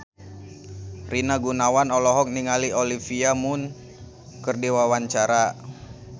Rina Gunawan olohok ningali Olivia Munn keur diwawancara